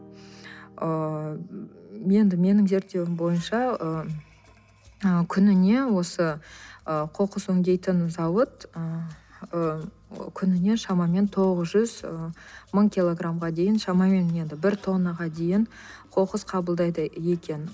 ыыы енді менің зерттеуім бойынша ы күніне осы ы қоқыс өңдейтін зауыт ы күніне шамамен тоғыз жүз ы мың килограмға дейін шамамен енді бір тоннаға дейін қоқыс қабылдайды екен